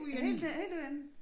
Helt helt nede i enden